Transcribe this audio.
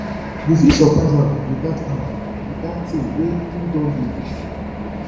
yu fit soprise am wit dat am wit dat tin wey em don dey wish for